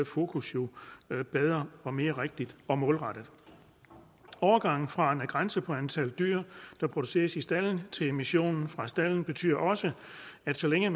fokus jo bedre og mere rigtigt og målrettet overgangen fra en grænse for antallet dyr der produceres i stalden til emissionen fra stalden betyder også at så længe